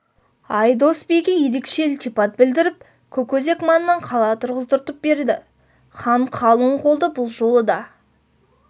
айдос биге ерекше ілтипат білдіріп көкөзек маңынан қала тұрғыздыртып берді хан қалың қолды бұл жолы да